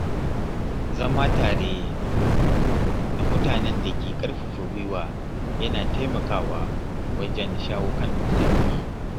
Zama tare da mutanen da ke ƙarfafa gwiwa yana taimakawa wajen shawo kan matsaloli.